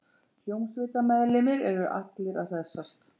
Hljómsveitarmeðlimir eru allir að hressast